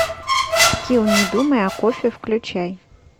скилл не думай о кофе включай